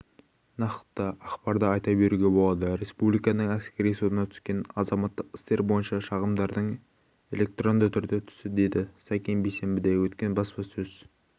нақты ақпарды айта беруге болады республиканың әскери сотына түскен азаматтық істер бойынша шағымдардың электронды түрде түсті деді сакен бейсенбіде өткен баспасөз